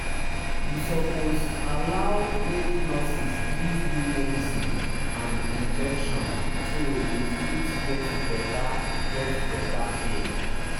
you suppose allow make nurses give you medicine and injection so you fit get better get better care